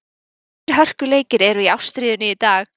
Þrír hörkuleikir eru í ástríðunni í dag.